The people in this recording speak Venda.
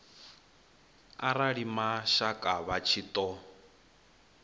arali mashaka vha tshi ṱo